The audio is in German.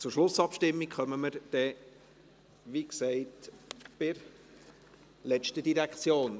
Zur Schlussabstimmung kommen wir dann, wie gesagt, bei der letzten Direktion.